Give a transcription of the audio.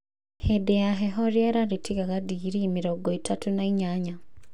Hĩndĩ ya heho rĩera rĩtiagaga digrii mĩrongo ĩtatũ na inyanyaC.